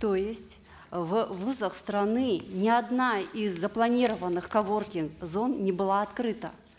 то есть в вузах страны ни одна из запланированных коворкинг зон не была открыта